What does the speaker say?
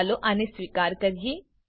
ચાલો આને સ્વીકાર કરીએ